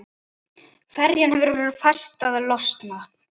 Ferjan hefur festar losað.